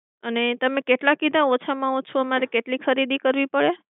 અને તમે કેટલા કીધા ઓછામાં ઓછા અમારે કેટલી ખરીદી કરવી પડે?